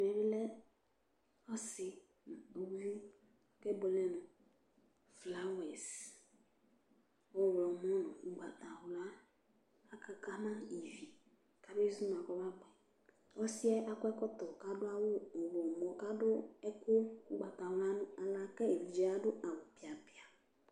ɛmɛ bi lɛ ɔsi nu uluvi kebuele nu flawɛs ɔwlɔmɔ nu ugbata wla akaka ma ivi , kabe zuma kɔ ma bʋɛ, ɔsiɛ akɔ ɛkɔtɔ k'adu awu ɔwlɔmɔ k'adu ɛku ugbata wla nu aɣla ku evidze adu awu piapia